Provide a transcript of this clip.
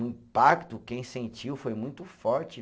O impacto, quem sentiu, foi muito forte.